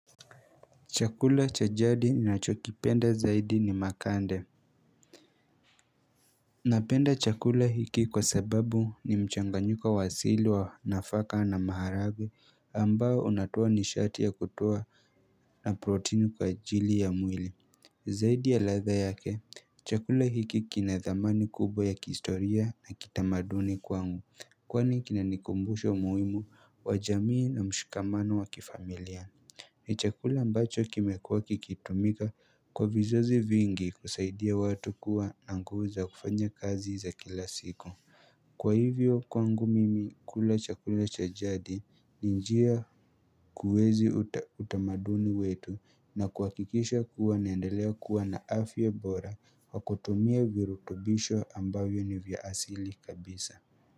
Chakula cha jadi ninacho kipenda zaidi ni makande Napenda chakula hiki kwa sababu ni mchanganyiko wasili wa nafaka na maharagwe ambao unatoa nishati ya kutoa na proteini kwa ajili ya mwili Zaidi ya ladha yake chakula hiki kinadhamani kubwa ya kihistoria na kitamaduni kwangu kwani kinanikumbusha umuhimu wa jamii na mshikamano wa kifamilia ni chakula mbacho kimekuwa kikitumika kwa vizazi vingi kusaidia watu kuwa na nguva za kufanya kazi za kila siku. Kwa hivyo kwangu mimi kula chakula cha jadi ni njia kuezi utamaduni wetu na kuhakikisha kuwa naendelea kuwa na afya bora kwa kutumia virutubisho ambavyo ni vyasili kabisa.